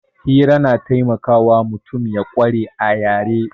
Hira na taimakawa mutum ya ƙware a yare